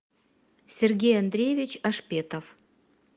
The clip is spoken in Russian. сергей андреевич ашпетов